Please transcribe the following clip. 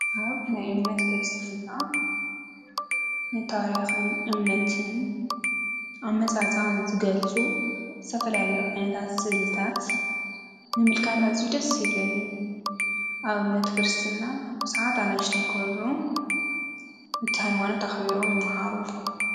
አብ ናይ እምነት ክርስትና ንታሪኽን እምነትን አመፃፅአን ዝገልፁ ዝተፈላለዩ ዓይነታት ስእልታት ምምልካት አዝዩ ደስ ይብለኒ። አብ እምነት ክርስትና ብዙሓት አነእሽተይ ቆልዑ ነቲ ሃይማኖት አኽቢሮም ይመሃሩ።